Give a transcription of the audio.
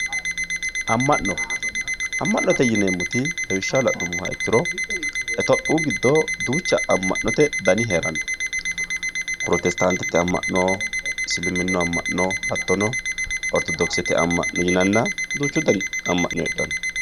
Ama'no, ama'note yineemmoti lawishshaho la'nuummoro ,itophiyu giddo duucha ama'note dani heerano prostetatete ama'no. isiliminu ama'no hattono orthodokisete ama'no yinanna duuchu dani ama'no heedhano.